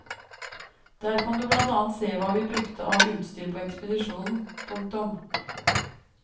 Der kan du blant annet se hva vi brukte av utstyr på ekspedisjonen. punktum